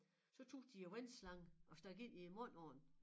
Så tog de æ vandslange og stak ind i æ mund på den